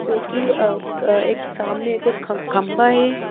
जो कि अ एक सामने एक और ख खंबा है।